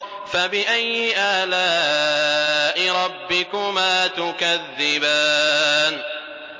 فَبِأَيِّ آلَاءِ رَبِّكُمَا تُكَذِّبَانِ